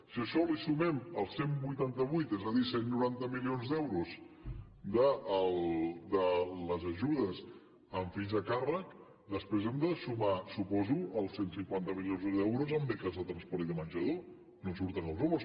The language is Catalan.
si a això li sumem els cent i vuitanta vuit és a dir cent i noranta milions d’euros de les ajudes amb fills a càrrec després hem de sumar suposo els cent i cinquanta milions d’euros en beques de transport i de menjador no em surten els números